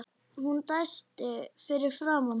Hún dæsti fyrir framan hann.